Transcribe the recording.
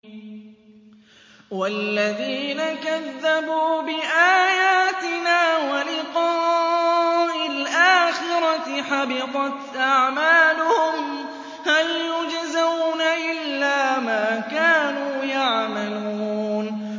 وَالَّذِينَ كَذَّبُوا بِآيَاتِنَا وَلِقَاءِ الْآخِرَةِ حَبِطَتْ أَعْمَالُهُمْ ۚ هَلْ يُجْزَوْنَ إِلَّا مَا كَانُوا يَعْمَلُونَ